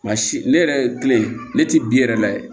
Nka si ne yɛrɛ kile ne tɛ bi yɛrɛ layɛ